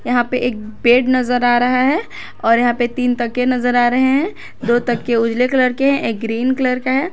यहां पे एक बेड नजर आ रहा है और यहां पे तीन तकिए नजर आ रहे हैं दो तकिए उजले कलर के हैं एक ग्रीन कलर का है।